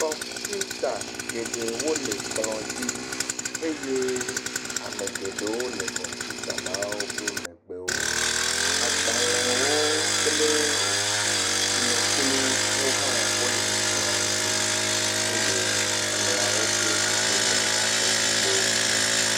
Kɔmpuita geɖewo le kplɔdzi eye ame geɖewo le kɔmpuita la wo ƒe megbe wo agbalẽwo kple tsinokplu ha le kplɔadzi eye amewo ƒe dzedzeme le abe yevu ene